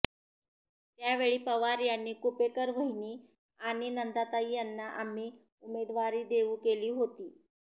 त्यावेळी पवार यांनी कुपेकर वहिनी आणि नंदाताई यांना आम्ही उमेदवारी देऊ केली होती